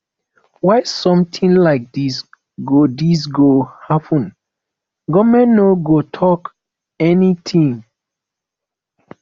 why something like dis go dis go happen government no go talk anything